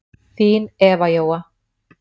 Þín Eva Jóa.